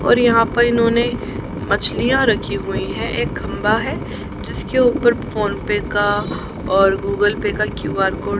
और यहां पर इन्होंने मछलियां रखी हुई है। एक खंभा है जिसके ऊपर फोन पे का और गूगल पे का क्यू_आर कोड --